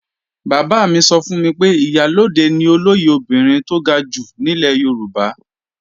Bàbá mi sọ fún mi pé Ìyálóde ni olóyè obìnrin tó ga jù nílẹ̀ Yorùbá